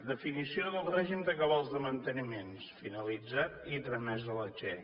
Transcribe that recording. definició del règim de cabals de manteniment finalitzat i tramés a la che